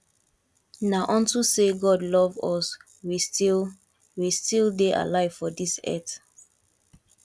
na unto say god love us we still we still dey alive for dis earth